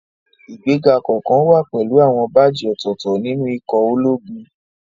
Ìgbéga kọ̀ọ̀kan wá pẹ̀lú àwọn báàjì ọ̀tọ̀ọ̀tọ̀ nínú ikọ̀ ológun